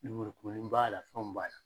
Lemurukumuni b'a la fɛnw b'a la.